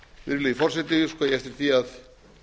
virðulegi forseti óska ég eftir því að